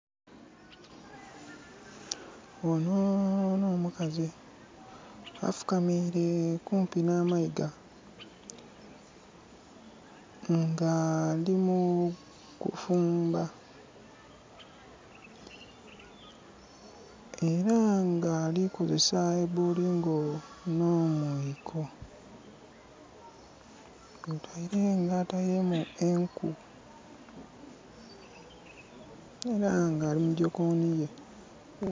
Onho nho mukazi afukamire okumpi nha mayiga nga ali mu kufumba. Era nga ali kukozesa bolingo nho mwiko nga ateiremu enku era nga ali mujokonhi ye.